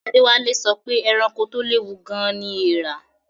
Adewale sọ pé ẹranko tó léwu gan-an ni eèrà